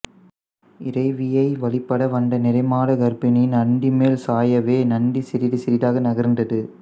இறைவியை வழிபட வந்த நிறைமாத கர்ப்பிணி நந்தி மேல் சாயவே நந்தி சிறிது சிறிதாக நகர்ந்தது